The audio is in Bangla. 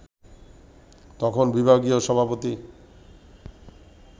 তখন বিভাগীয় সভাপতি